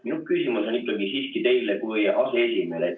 Minu küsimus on teile kui aseesimehele.